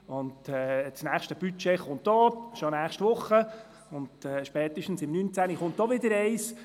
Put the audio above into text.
Auch das nächste Budget kommt, bereits nächste Woche und spätestens im Jahr 2019.